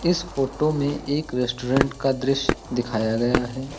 इस फोटो में एक रेस्टोरेंट का दृश्य दिखाया गया है।